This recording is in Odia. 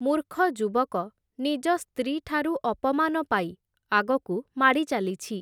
ମୂର୍ଖ ଯୁବକ ନିଜ ସ୍ତ୍ରୀଠାରୁ ଅପମାନ ପାଇ, ଆଗକୁ ମାଡ଼ିଚାଲିଛି ।